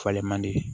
Falen man di